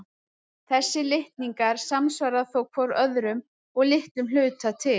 Þessir litningar samsvara þó hvor öðrum að litlum hluta til.